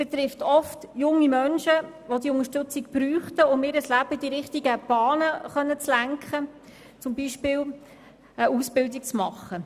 Betroffen sind oft junge Menschen, welche auf die Unterstützung angewiesen sind, um ihr Leben in die richtige Bahn lenken zu können, das heisst, um beispielsweise eine Ausbildung zu absolvieren.